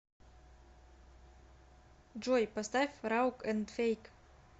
джой поставь раук энд фейк